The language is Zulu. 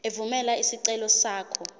evumela isicelo sakho